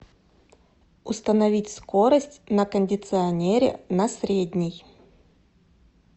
установить скорость на кондиционере на средний